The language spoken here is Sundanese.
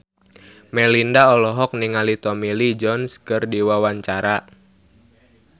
Melinda olohok ningali Tommy Lee Jones keur diwawancara